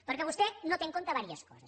perquè vostè no té en compte unes quantes coses